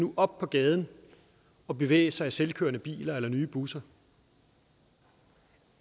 op på gaden og bevæge sig i selvkørende biler eller nye busser